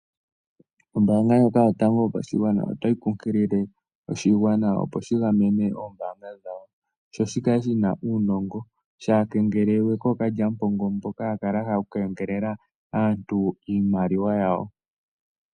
Ombaanga yotango yopashigwana oyo nkukilile oshigwana, opo shi gamene oombaanga dhawo sho kashi kengelelwe kookalyampombo mboka haya kala ya hala oku kengelela aantu iimaliwa yawo.